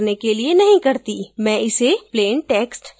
मैं इसे plain text चुनूँगी